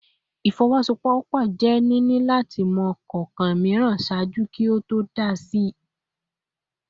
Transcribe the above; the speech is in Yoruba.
Ifowosowopo je nini lati mọ kọọkan miiran ṣaaju ki o to dá si a ibasepo